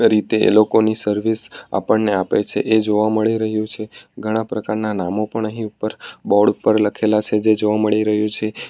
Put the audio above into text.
ભીતે એ લોકોની સર્વિસ આપણને આપે છે એ જોવા મળી રહ્યું છે ઘણા પ્રકારના નામો પણ અહીં ઉપર બોર્ડ ઉપર લખેલા છે જે જોવા મળી રહ્યું છે.